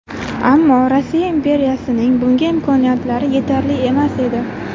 Ammo Rossiya imperiyasining bunga imkoniyatlari yetarli emas edi.